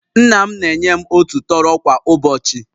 Nna m na-enye m otu tọrọ kwa ụbọchị